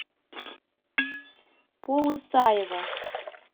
полысаево